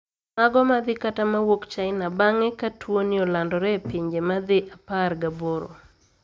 Mago ma dhi kata ma wuok China bang`e ka tuoni olandore e pinje ma dhi apar gaboro